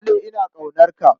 Na daɗe ina ƙaunarka.